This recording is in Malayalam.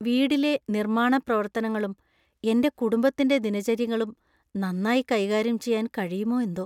വീടിലെ നിർമ്മാണ പ്രവർത്തനങ്ങളും എന്‍റെ കുടുംബത്തിന്‍റെ ദിനചര്യകളും നന്നായി കൈകാര്യം ചെയ്യാന്‍ കഴിയുമോ എന്തോ!